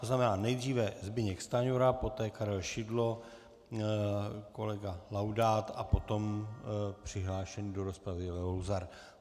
To znamená nejdříve Zbyněk Stanjura, poté Karel Šidlo, kolega Laudát a potom přihlášený do rozpravy Leo Luzar.